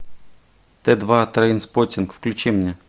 т два трейнспоттинг включи мне